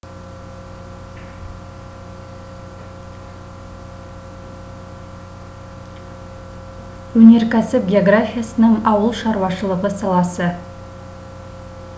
өнеркәсіп географиясының ауыл шаруашылығы саласы